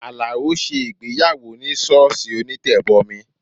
Alao ṣe ìgbéyàwó ní sọ́ọ̀sì onítẹ̀bọmi